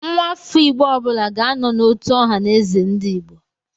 Nwafọ Igbo ọbụla ga-anọ n'otu Ọhaneze/Ndigbo.